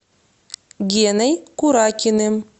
геной куракиным